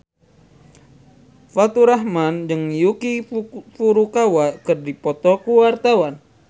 Faturrahman jeung Yuki Furukawa keur dipoto ku wartawan